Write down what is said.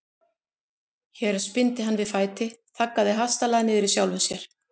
Hér spyrnti hann við fæti, þaggaði hastarlega niður í sjálfum sér.